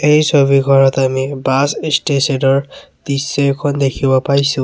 এই ছবিখনত আমি বাছ ষ্টেচন ৰ দৃশ্যে এখন দেখিব পাইছোঁ।